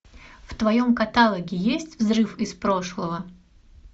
в твоем каталоге есть взрыв из прошлого